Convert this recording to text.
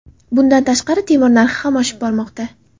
Bundan tashqari, temir narxi ham oshib bormoqda.